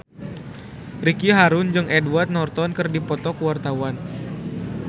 Ricky Harun jeung Edward Norton keur dipoto ku wartawan